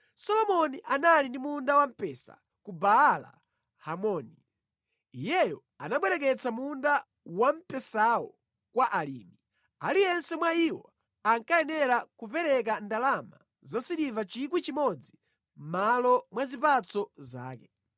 Solomoni anali ndi munda wampesa ku Baala-Hamoni; iyeyo anabwereketsa munda wamphesawo kwa alimi, aliyense mwa iwo ankayenera kupereka ndalama zasiliva 1,000 mʼmalo mwa zipatso zake.